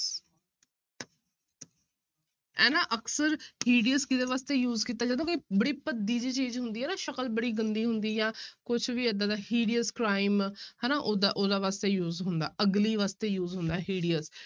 ਇਹ ਨਾ ਅਕਸਰ hideous ਕਿਹਦੇ ਵਾਸਤੇ use ਕੀਤਾ ਜਾਂਦਾ ਕੋਈ ਬੜੀ ਭੱਦੀ ਜਿਹੀ ਚੀਜ਼ ਹੁੰਦੀ ਹੈ ਨਾ ਸ਼ਕਲ ਬੜੀ ਗੰਦੀ ਹੁੰਦੀ ਹੈ ਕੁਛ ਵੀ ਏਦਾਂ ਦਾ hideous crime ਹਨਾ ਉਹਦਾ, ਉਹਦਾ ਵਾਸਤੇ use ਹੁੰਦਾ ugly ਵਾਸਤੇ use ਹੁੰਦਾ hideous